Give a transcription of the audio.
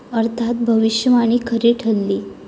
अर्थात भविष्यवाणी खरी ठरली.